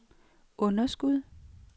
underskud